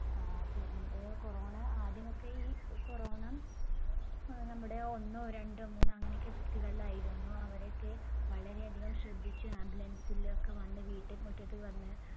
ആഹ് പിന്നെ Corona ആദ്യമൊക്കെ ഈ Corona അഹ് നമ്മുടെ ഒന്നോരണ്ടോ മൂന്നോ അങ്ങനെയൊക്കെ വ്യക്തികളിലായിരുന്നു അവരെ ഒക്കെ വളരെ അധികം ശ്രദ്ധിച്ച് ambulance ലൊക്കെ വന്ന് വീട്ടുമുറ്റത്ത് വന്ന്